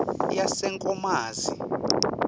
yasenkomazi